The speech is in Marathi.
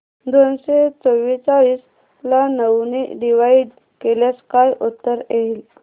दोनशे चौवेचाळीस ला नऊ ने डिवाईड केल्यास काय उत्तर येईल